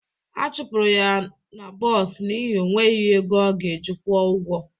A chụpụrụ ya n'bos n'ihi ọ nweghị ego ọ ga-eji kwuo ụgwọ